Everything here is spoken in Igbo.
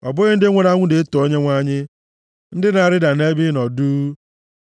Ọ bụghị ndị nwụrụ anwụ na-eto Onyenwe anyị, ndị na-arịda nʼebe ịnọ duu;